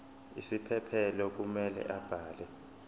isiphephelo kumele abhale